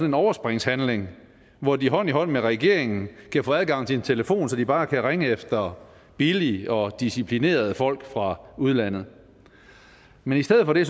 en overspringshandlinger hvor de hånd i hånd med regeringen kan få adgang til en telefon så de bare kan ringe efter billige og disciplinerede folk fra udlandet men i stedet for det